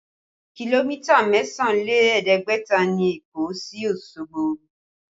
Kìlómítà mẹ́sàn án lé ẹ̀ẹ́dẹ́gbẹ̀ta ni Èkó sí Osogbo